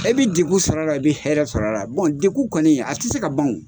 E bɛ degun sɔr'a la i bɛ hɛrɛ sɔr'a la degun kɔni a tɛ se ka ban o.